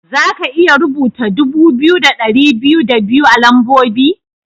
Za ka iya rubuta dubu biyu da ɗari biyu da biyu a lambobi?